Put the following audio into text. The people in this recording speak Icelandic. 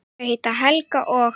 Þau heita Helga og